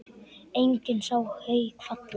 Enginn sá Hauk falla.